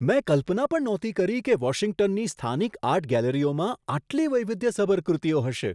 મેં કલ્પના પણ નહોતી કરી કે વોશિંગ્ટનની સ્થાનિક આર્ટ ગેલેરીઓમાં આટલી વૈવિધ્યસભર કૃતિઓ હશે.